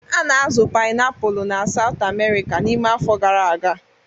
A na-azụ painiapulu na South America n'ime afọ gara aga.